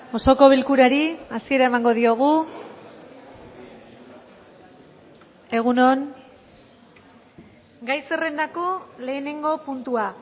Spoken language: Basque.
osoko bilkurari hasiera emango diogu egun on gai zerrendako lehenengo puntua